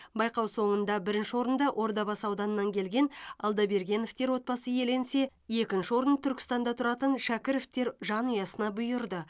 байқау соңында бірінші орында ордабасы ауданынан келген алдабергеновтер отбасы иеленсе екінші орын түркістанда тұратын шакіровтер жанұясына бұйырды